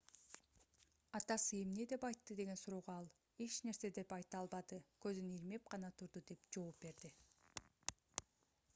атасы эмне деп айтты деген суроого ал эч нерсе деп айта албады көзүн ирмеп гана турду - деп жооп берди